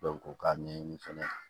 u k'a ɲɛɲini fana